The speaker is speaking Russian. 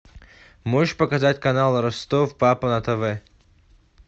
можешь показать канал ростов папа на тв